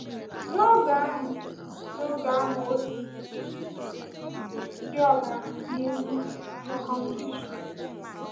N’oge ahụ, N’oge ahụ, ọ sịrị: di ọbara, n’ihi um circumcision.